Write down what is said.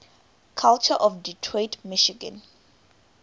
culture of detroit michigan